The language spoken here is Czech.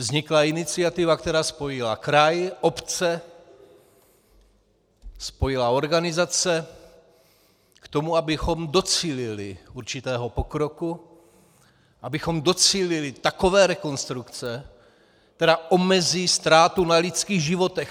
Vznikla iniciativa, která spojila kraj, obce, spojila organizace k tomu, abychom docílili určitého pokroku, abychom docílili takové rekonstrukce, která omezí ztrátu na lidských životech.